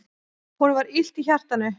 Honum var illt í hjartanu.